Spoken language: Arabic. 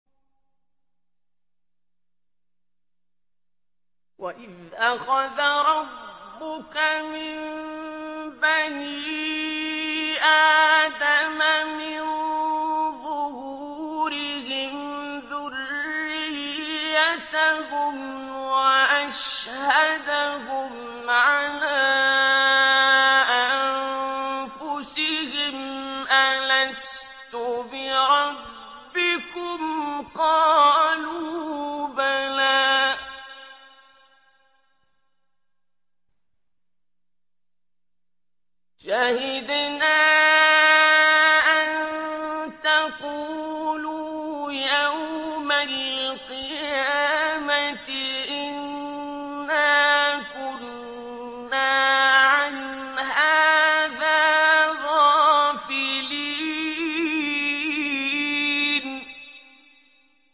وَإِذْ أَخَذَ رَبُّكَ مِن بَنِي آدَمَ مِن ظُهُورِهِمْ ذُرِّيَّتَهُمْ وَأَشْهَدَهُمْ عَلَىٰ أَنفُسِهِمْ أَلَسْتُ بِرَبِّكُمْ ۖ قَالُوا بَلَىٰ ۛ شَهِدْنَا ۛ أَن تَقُولُوا يَوْمَ الْقِيَامَةِ إِنَّا كُنَّا عَنْ هَٰذَا غَافِلِينَ